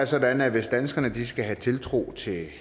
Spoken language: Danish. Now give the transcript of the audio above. sådan at hvis danskerne skal have tiltro til